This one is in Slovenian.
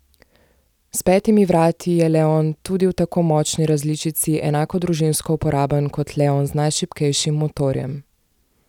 S petimi vrati je leon tudi v tako močni različici enako družinsko uporaben kot leon z najšibkejšim motorjem.